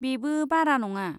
बेबो बारा नङा।